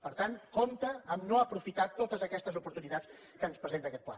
per tant compte amb el fet de no aprofitar totes aquestes oportunitats que ens presenta aquest pla